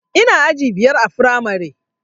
Ina aji biyar a firamare